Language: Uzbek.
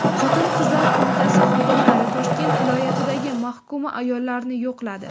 Xotin-qizlar qo‘mitasi xodimlari Toshkent viloyatidagi mahkuma ayollarni yo‘qladi.